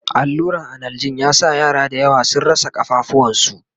alluran analjin ya sa yara da yawa sun rasa kafafuwan su